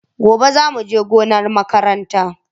Gobe za mu je gonar makaranta.